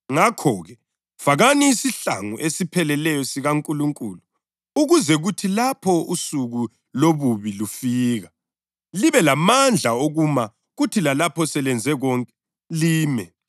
Ngoba kasilwi lenyama legazi kodwa silwa lababusi, lemibuso kanye lamandla omhlaba lo ogcwele ubumnyama, silwe njalo lamabutho emimoya emibi emibusweni yasemazulwini.